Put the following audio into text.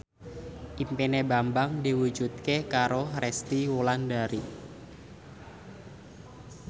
impine Bambang diwujudke karo Resty Wulandari